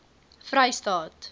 vrystaat